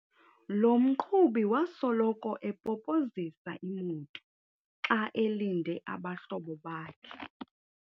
Lo mqhubi wasoloko epopozisa imoto xa elinde abahlobo bakhe.